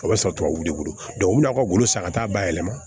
O bɛ sɔrɔ tubabu bolo u bɛn'a ka wolo san ka taa bayɛlɛma